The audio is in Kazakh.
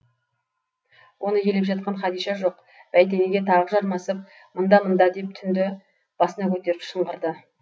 оны елеп жатқан хадиша жоқ бәйтенге тағы жармасып мында мында деп түнді басына көтеріп шыңғырды